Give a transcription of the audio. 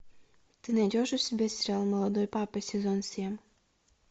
ты найдешь у себя сериал молодой папа сезон семь